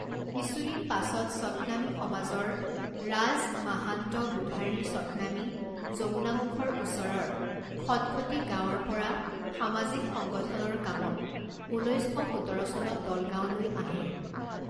কিছুদিন পাছত সৎনামী সমাজৰ ৰাজ মাহান্ত বুধাৰী সৎনামী যমুনামুখৰ ওচৰৰ খটখটি গাঁৱৰ পৰা সামাজিক সংগঠনৰ কামত ঊনৈছ শ সোতৰ চনত দলগাঁৱলৈ আহে।